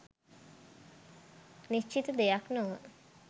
නිශ්චිත දෙයක් නොව